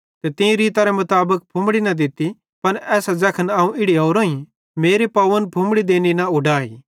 तीं मीं रीतरे मुताबिक फुम्मड़ी न दित्ती पन एसां ज़ैखनेरो अवं इड़ी ओरोईं मेरे पाव दोग्गेरे बालन सेइं पौंछ़ने न छ़डे